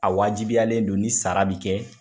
A wajibiyalen don ni sara be kɛ